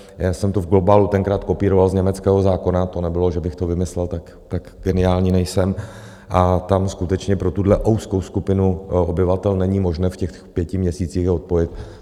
Já jsem to v globálu tenkrát kopíroval z německého zákona - to nebylo, že bych to vymyslel, tak geniální nejsem - a tam skutečně pro tuhle úzkou skupinu obyvatel není možné v těch pěti měsících je odpojit.